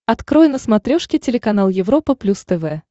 открой на смотрешке телеканал европа плюс тв